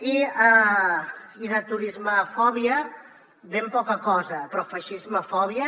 i de turismofòbia ben poca cosa però de feixismofòbia